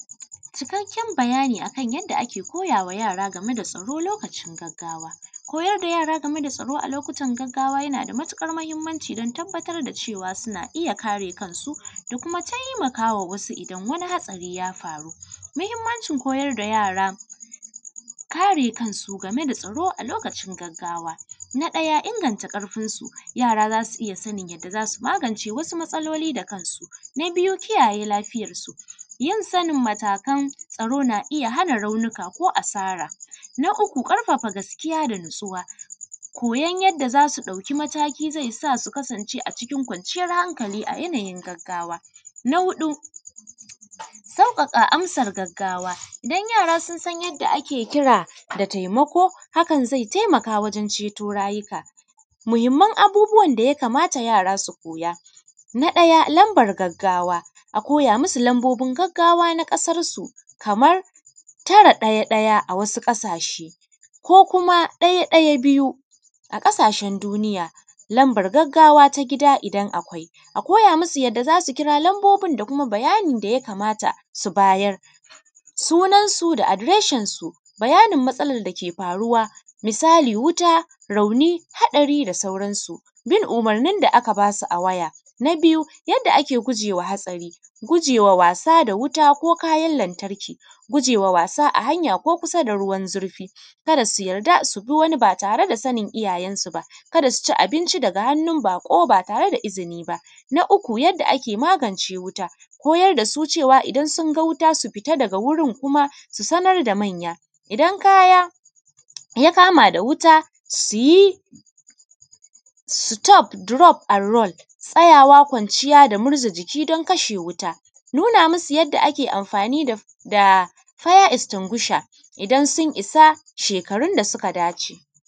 Cikakken bayani akan yadda ake koyama yara akan lokacin gaggawa. Ko yarda yara gameda tsaro lokutan gaggawa yanada matuƙar mahimmanci dan tabbatar da cewa suna iyya kare kansu da kuma taimakawa wasu idan hatsari ya faru. Mahimmancin koyar da yara karesu gameda tsaro a lokutan gaggawa. Na ɗaya inganta ƙarfinsu yara zasu iyya sanin yanda zasu magance wasu matsaloli da kansu. Na biyu kiyaye lafiyar suyin sanin matakan tsaro na iyya hana raunika ko asara. Na uku ƙarfafa gaskiya da natsuwa koyan yadda zasu ɗauki mataki zaisa su kasance a cikin kwanciyan hankali a lokuta na gaggawa. Na huɗu sauƙaƙa amsan gaggawa idan yara sunsan yadda ake kira zai taimaka wajen ceto rayuka. Muhimman abubuwan da yakamata yara su koya Na ɗaya lambar gaggawa a koya musu lambar gaggawa na ƙasarsu Kaman tara ɗaya ɗaya a wasu ƙasashe ko kuma ɗaya ɗaya biyu a wasu ƙasashen duniya. Lambar gaggawa ta gida idan akwai. A koya musu yanda zasu kira lambabin da kuma bayanin da yakamata su bayar sunan su da adireshin su bayani matsalan dake faruwa. Misali wuta, rauni, haɗari da sauran su. Bin umurnin da aka basu a waya. Na biyu yadda ake gugewa haɗari gujewa wasa da wuta ko kayan lantarki, gujewa wasa a hanya ko kusa da ruwan zurfi. Kada su yarda subi wani ba tare da izinini iyayensu ba. Kada suci abinci daga hannun baƙo ba tareda izini ba. Na uku yadda ake magance wuta koyar dasu cewa idan sunga wuta su fita daga wurin kuma su sanar da manya. idan kaya ya kama da wuta suyi sutof, durof an ron, tsayawa, kwaciya da murza jiki dan kashe wuta nuna musu yanda ake amfani da faya estingusha idan sun isa sheakarun da suka dace.